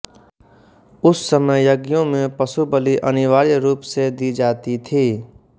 उस समय यज्ञों में पशुबलि अनिवार्य रूप से दी जाती थी